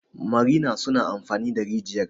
marina suna amfani da rijiyar